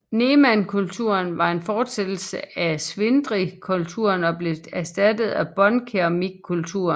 Nemankulturen var en fortsættelse af ŝwidrykulturen og blev erstattet af båndkeramikkulturen